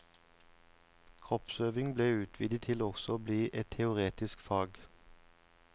Kroppsøving ble utvidet til også å bli et teoretisk fag.